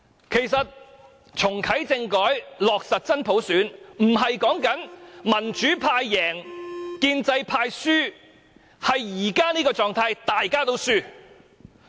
其實，"重啟政改，落實真普選"，不是說民主派贏，建制派輸，而是現時這種狀態，大家都輸。